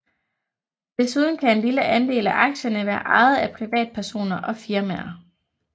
Desuden kan en lille andel af aktierne være ejet af privatpersoner og firmaer